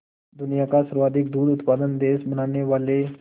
दुनिया का सर्वाधिक दूध उत्पादक देश बनाने वाले